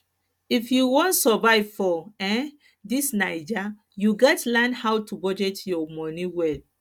if you wan survive for um dis naija you gats learn how to budget your moni well